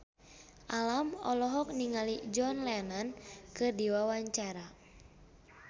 Alam olohok ningali John Lennon keur diwawancara